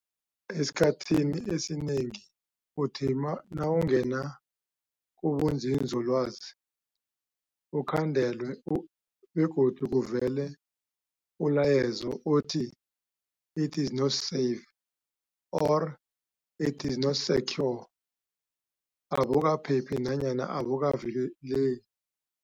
Esikhathini esinengi uthi na nawungena kubunzinzolwazi, ukhandelwe u begodu kuvele ulayezo othi, it is not safe or it is not secure, abukaphephi nanyana abukavikele